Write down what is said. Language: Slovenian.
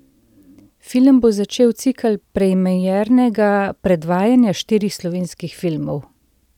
Film bo začel cikel premiernega predvajanja štirih slovenskih filmov.